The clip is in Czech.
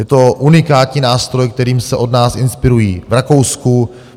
Je to unikátní nástroj, kterým se od nás inspirují v Rakousku.